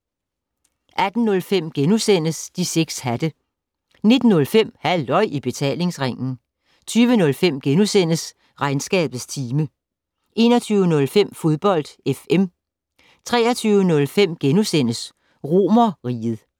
18:05: De 6 hatte * 19:05: Halløj I Betalingsringen 20:05: Regnskabets time * 21:05: Fodbold FM 23:05: Romerriget *